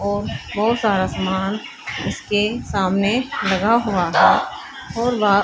और बहुत सारा सामान इसके सामने लगा हुआ है और वह--